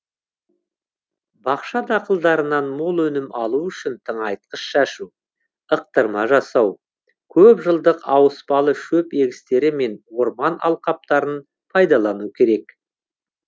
бақша дақылдарынан мол өнім алу үшін тыңайтқыш шашу ықтырма жасау көп жылдық ауыспалы шөп егістері мен орман алқаптарын пайдалану керек